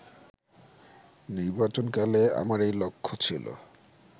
নির্বাচনকালে আমার এই লক্ষ্য ছিল